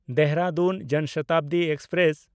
Dehradun Jan Shatabdi express